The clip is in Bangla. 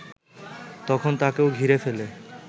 তখন তাকেও ঘিরে ফেলে